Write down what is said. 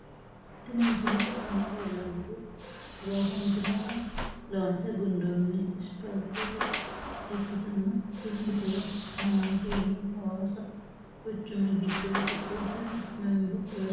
Tini misilete aana leellannori loosantino woy loonse gundoonni isipaalte ikkitanna tini baseno mamaati yiniro hawaasi quchumi giddooti qolteno membo loosantino.